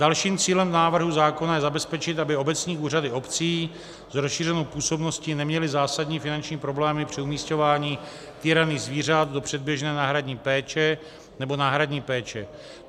Dalším cílem návrhu zákona je zabezpečit, aby obecní úřady obcí s rozšířenou působností neměly zásadní finanční problémy při umisťování týraných zvířat do předběžné náhradní péče nebo náhradní péče.